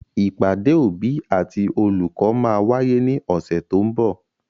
Ìpàdé òbí àti olùkọ́ máa wáyé ní ọ̀sẹ̀ to ń bọ̀.